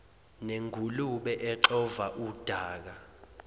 nengulube exova udaka